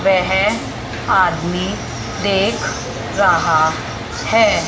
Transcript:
वह आदमी देख रहा है।